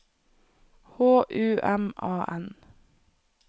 H U M A N